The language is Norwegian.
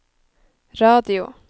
radio